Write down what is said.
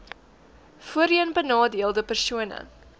voorheen benadeelde persone